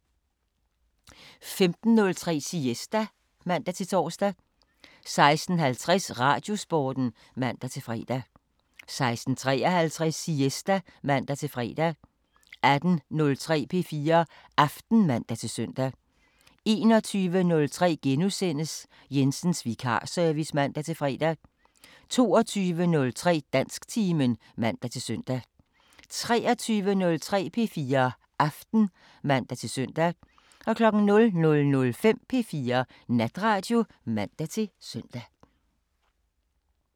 15:03: Siesta (man-tor) 16:50: Radiosporten (man-fre) 16:53: Siesta (man-fre) 18:03: P4 Aften (man-søn) 21:03: Jensens vikarservice *(man-fre) 22:03: Dansktimen (man-søn) 23:03: P4 Aften (man-søn) 00:05: P4 Natradio (man-søn)